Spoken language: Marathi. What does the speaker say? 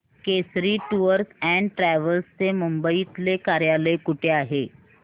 केसरी टूअर्स अँड ट्रॅवल्स चे मुंबई तले कार्यालय कुठे आहे